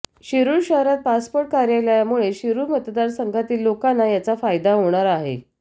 शिरूर शहरात पासपोर्ट कार्यालयामुळे शिरूर मतदारसंघातील लोकांना याचा फायदा होणार आहे